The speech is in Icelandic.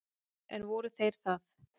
En voru þeir það?